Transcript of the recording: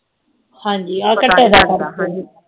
ਹਾਂਜੀ ਆ ਘੱਟਾ ਯਾਦਾਂ